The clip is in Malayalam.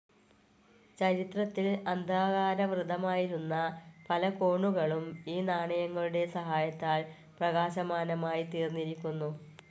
ചരിത്രത്തിൽ അന്ധകാരാവൃതമായിരുന്ന പല കോണുകളും ഈ നാണയങ്ങളുടെ സഹായത്താൽ പ്രകാശമാനമായി തീർന്നിരിക്കുന്നു.